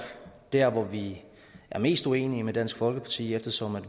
der hvor vi er mest uenige med dansk folkeparti eftersom